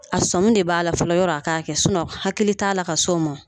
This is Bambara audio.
A sɔmin de b'a la fɔlɔ yɔrɔ a k'a kɛ sinɔn hakili t'a la ka s'o ma o